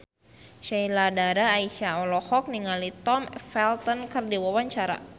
Sheila Dara Aisha olohok ningali Tom Felton keur diwawancara